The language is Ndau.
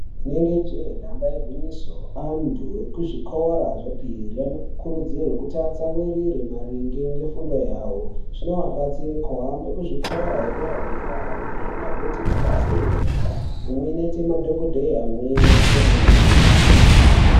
Rinenge jee nyamba igwinyiso, antu ekuzvikora zvepiri anokurudzirwa kuti atsamwirire maringe ngefundo yavo. Zvinovabatsire kuhambe kuzvikora zvedera dera, amweni agoite mabasa enyara, amweni aite madhokodheya, amweni aite anamukoti.